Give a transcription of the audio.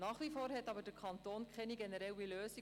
Nach wie vor hat der Kanton aber keine generelle Lösung.